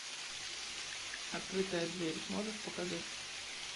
открытая дверь можешь показать